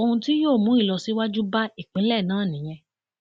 ohun tí yóò mú ìlọsíwájú bá ìpínlẹ náà nìyẹn